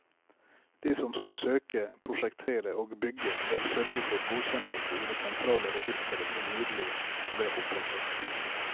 De som skal søke, prosjektere og bygge bør sørge for godkjennelse i det sentrale registeret som nylig ble opprettet.